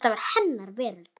Þetta var hennar veröld.